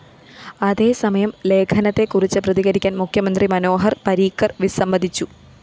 അതേസമയം ലേഖനത്തെക്കുറിച്ച് പ്രതികരിക്കാന്‍ മുഖ്യമന്ത്രി മനോഹര്‍ പരീക്കര്‍ വിസ്സമതിച്ചു